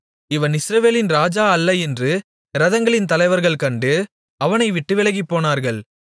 இவன் இஸ்ரவேலின் ராஜா அல்ல என்று இரதங்களின் தலைவர்கள் கண்டு அவனைவிட்டு விலகிப்போனார்கள்